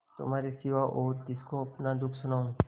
तुम्हारे सिवा और किसको अपना दुःख सुनाऊँ